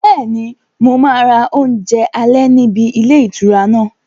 Bẹ́ẹ̀ni, mo máa ra oúnjẹ alẹ́ níbi ilé ìtura náà